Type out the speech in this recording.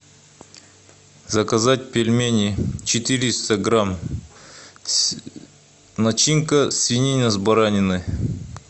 заказать пельмени четыреста грамм начинка свинина с бараниной